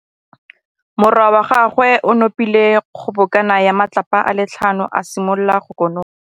Morwa wa gagwe o nopile kgobokanô ya matlapa a le tlhano, a simolola go konopa.